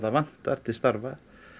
vantar til starfa